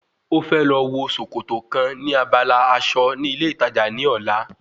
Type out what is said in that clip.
Ó fẹ́ lọ wo sòkòtò kan ní abala aṣọ ní ilé ìtajà ní ọ̀la